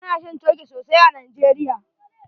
Ana shan Coke sosai a Nigeria.